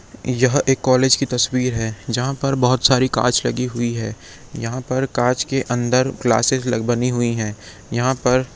यह एक कॉलेज की तस्वीर हैं जहाँ पर बहोत सारी कांच लगी है यहाँ पर कांच के अंदर क्लासेस बनी हुई हैं यहाँ पर--